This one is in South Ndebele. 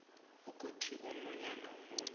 ukuthi omunye nomunye